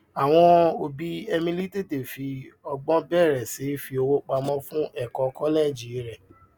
àwọn òbí emily tètè fi ọgbọn bẹrẹ sí í fi owó pamọ fún ẹkọ kọlẹẹjì rẹ